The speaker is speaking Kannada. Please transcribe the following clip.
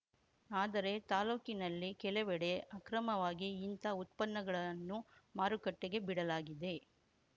ಆದರೆ ತಾಲೂಕಿನಲ್ಲಿ ಕೆಲವೆಡೆ ಅಕ್ರಮವಾಗಿ ಇಂಥ ಉತ್ಪನ್ನಗಳನ್ನು ಮಾರುಕಟ್ಟೆಗೆ ಬಿಡಲಾಗಿದೆ